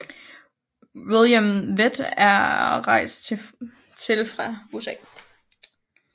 William Vett er rejst til fra USA